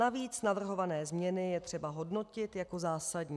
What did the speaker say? Navíc navrhované změny je třeba hodnotit jako zásadní.